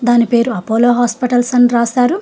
దాని పేరు Apollo hospitals అని రాస్తారు.